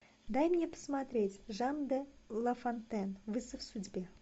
дай мне посмотреть жан де лафонтен вызов судьбе